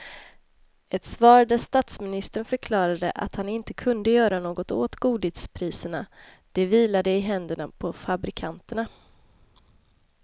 Ett svar där statsministern förklarade att han inte kunde göra något åt godispriserna, det vilade i händerna på fabrikanterna.